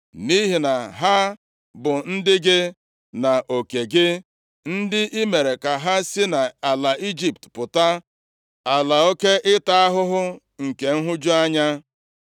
Nʼihi na ha bụ ndị gị na oke gị, ndị i mere ka ha si nʼala Ijipt pụta, ala oke ịta ahụhụ nke nhụju anya.